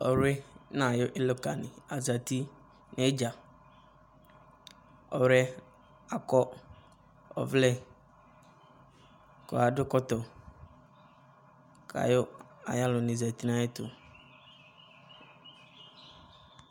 ɔwli no ayo ɔloka ni azati no idza ɔwli yɛ akɔ ɔvlɛ ko ado ɛkɔtɔ ko ayo alo ni zati no ayɛto